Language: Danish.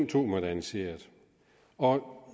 to moderniseret og